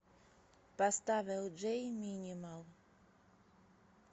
поставь элджей минимал